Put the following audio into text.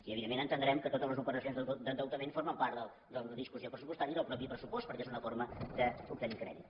i evidentment entendrem que totes les operacions d’endeutament formen part de la discussió pressupostària i del mateix pressupost perquè és una forma d’obtenir crèdit